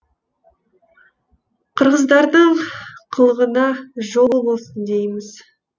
қырғыздардың қылығына жол болсын дейміз